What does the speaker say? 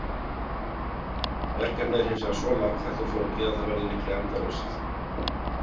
Verkefnið er hins vegar svo margþætt og flókið að það verður líklega endalaust.